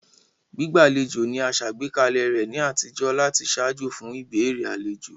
Gbígbàlejò ni a sàgbékalẹ̀ rẹ ni àtijó láti ṣaajo fun ìbéèrè alejo.